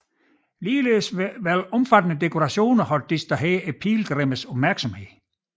Ligeledes ville omfattende dekorationer have distraheret pilgrimmes opmærksomhed